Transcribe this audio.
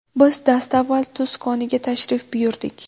Biz dastavval tuz koniga tashrif buyurdik.